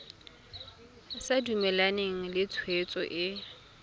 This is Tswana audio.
sa dumalane le tshwetso e